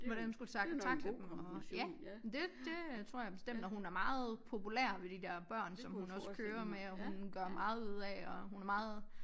Hvordan hun skal tackle dem og ja det det øh tror jeg bestemt og hun er meget populær ved de der børn som hun også kører med og hun gør meget ud af at hun er meget